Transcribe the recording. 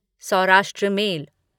Saurashtra mail